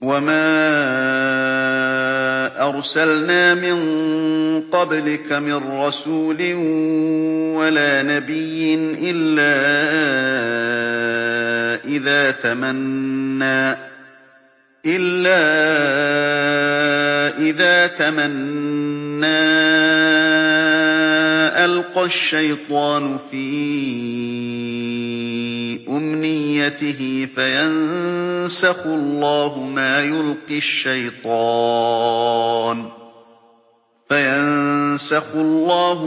وَمَا أَرْسَلْنَا مِن قَبْلِكَ مِن رَّسُولٍ وَلَا نَبِيٍّ إِلَّا إِذَا تَمَنَّىٰ أَلْقَى الشَّيْطَانُ فِي أُمْنِيَّتِهِ فَيَنسَخُ اللَّهُ